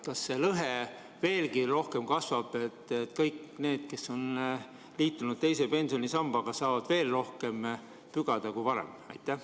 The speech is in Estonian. Kas see lõhe kasvab nüüd veelgi rohkem, nii et kõik need, kes on liitunud teise pensionisambaga, saavad veel rohkem pügada kui varem?